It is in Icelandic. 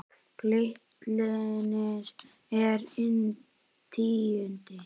Glitnir er inn tíundi